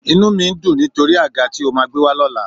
Inú mi ń dùn nítorí àga tí o máa gbé wá lọ́la